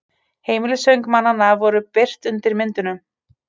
Heimilisföng mannanna voru birt undir myndunum